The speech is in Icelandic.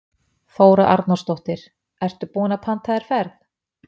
Þóra Arnórsdóttir: Ertu búinn að panta þér ferð?